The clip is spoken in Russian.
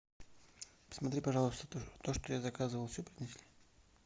посмотри пожалуйста то что я заказывал все принесли